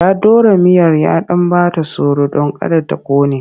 Ya ɗora miyar ya ɗan ba ta tsoro don kada ta ƙone.